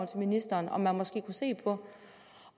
til ministeren om man måske kunne se på